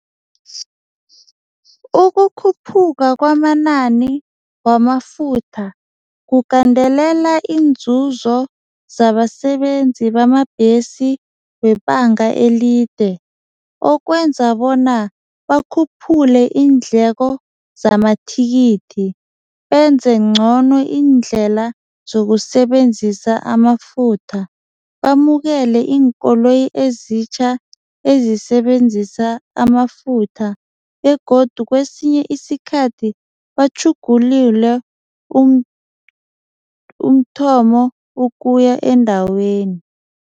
Ukukhuphuka kwamanani wamafutha kugandelela inzuzo zabasebenzi bamabhesi webanga elide okwenza bona bakhuphule iindleko zamathikithi benze ngcono indlela zokusebenzisa amafutha, bamukele iinkoloyi ezitjha ezisebenzisa amafutha begodu kwesinye isikhathi batjhugulule umthomo ukuya endaweni.